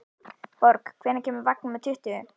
Borg, hvenær kemur vagn númer tuttugu?